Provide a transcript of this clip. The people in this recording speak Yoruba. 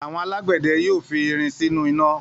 Àwọn alágbẹ̀dẹ yóò fi irin sínú iná.